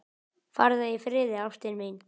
Farðu í friði, ástin mín.